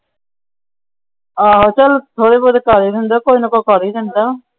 ਚੱਲ ਥੋੜੇ ਬਹੁਤ ਪੈਸੇ ਹੁੰਦੇ ਕੁਝ ਨਾ ਕੁਛ ਕਰ ਈ ਲੈਂਦਾ।